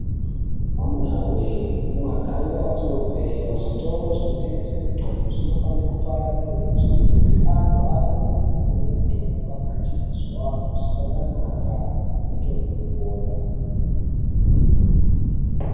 Amuna we kumaganga kwatinobva iyo zvitoro zvinotengesa mitombo zvinofana kupararire zvinoita kuti antu arumbe kundotenga mutombo kana achizwa zvisakanaka otomwa opora.